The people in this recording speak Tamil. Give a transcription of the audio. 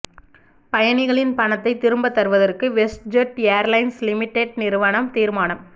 பயணிகளின் பணத்தை திரும்பத் தருவதற்கு வெஸ்ட்ஜெட் எயார்லைன்ஸ் லிமிடெட் நிறுவனம் தீர்மானம்